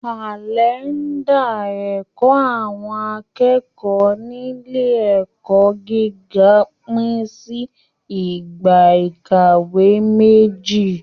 Kalẹnda ẹkọ àwọn akẹ́kọ̀ọ́ nílé ẹ̀kọ́ gíga pin sí ìgbà ìkàwé méjì.